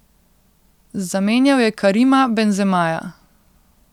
Zamenjal je Karima Benzemaja.